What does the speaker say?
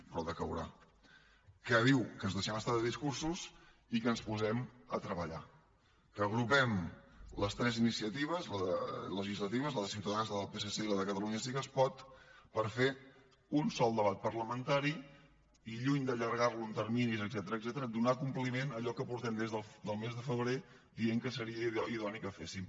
però decaurà que diu que ens deixem estar de discursos i que ens posem a treballar que agrupem les tres iniciatives legislatives la de ciutadans la del psc i la de catalunya sí que es pot per fer un sol debat parlamentari i lluny d’allargar lo en terminis etcètera donar compliment a allò que portem des del mes de febrer dient que seria idoni que féssim